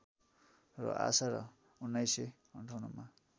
र आशा र १९५८ मा